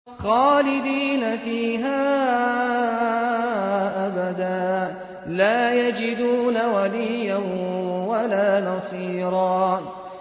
خَالِدِينَ فِيهَا أَبَدًا ۖ لَّا يَجِدُونَ وَلِيًّا وَلَا نَصِيرًا